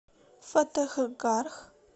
фатехгарх